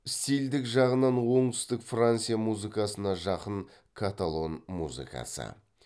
стильдік жағынан оңтүстік франция музыкасына жақын каталон музыкасы